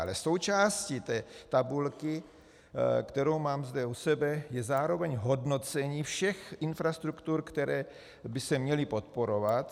Ale součástí té tabulky, kterou mám zde u sebe, je zároveň hodnocení všech infrastruktur, které by se měly podporovat.